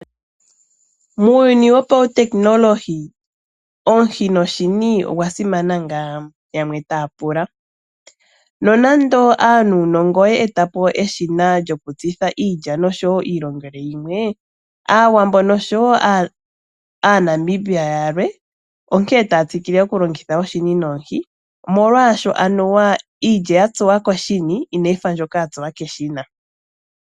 Muuyuni wongashingeyi omuhi noshini oya simana ngaa? Yamwe taya pula. Nonando aanuunongo ye etapo eshina lyokutsitha iilya noshowoo iilongelwe yimwe . Aawambo noshowoo aaNamibia yalwe onkene taya tsikile okulongitha oshini nomuhi molwaashoka anuwa iilya yatsuwa koshini inayi fa mbyoka yatsuwa keshina.